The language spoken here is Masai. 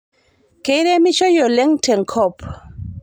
Keiremishoi oleng' tenkop